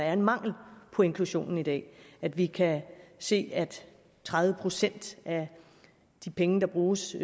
er en mangel på inklusion i dag at vi kan se af tredive procent af de penge der bruges